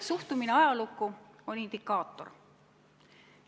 Suhtumine ajalukku on indikaator.